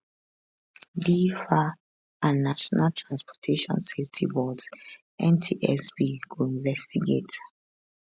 di faa and national transportation safety board ntsb go investigate